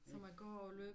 Som at gå og løbe